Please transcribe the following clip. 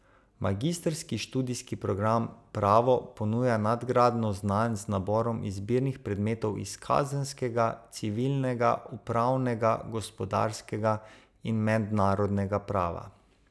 Magistrski študijski program Pravo ponuja nadgradnjo znanj z naborom izbirnih predmetov iz kazenskega, civilnega, upravnega, gospodarskega in mednarodnega prava.